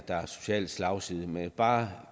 er en social slagside men jeg vil bare